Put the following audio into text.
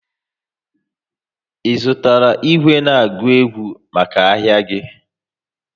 Ị zụtara igwe na-agụ ego maka ahịa gị?